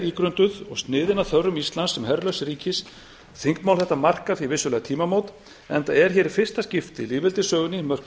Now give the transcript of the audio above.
ígrunduð og vel sniðin að þörfum íslands sem herlaust ríki þingmál þetta markar því vissulega tímamót enda er hér í fyrsta skipti í lýðveldissögunni mörkuð heildstæð